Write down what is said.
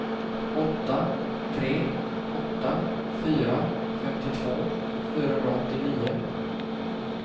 åtta tre åtta fyra femtiotvå fyrahundraåttionio